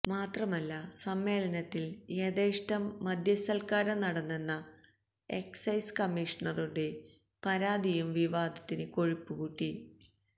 മാത്രമല്ല സമ്മേളനത്തില് യഥേഷ്ടം മദ്യസത്കാരം നടന്നെന്ന എക്സൈസ് കമ്മീഷണറുടെ പരാതിയും വിവാദത്തിന് കൊഴുപ്പുകൂട്ടി